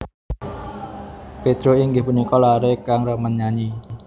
Pedro inggih punika laré kang remen nyanyi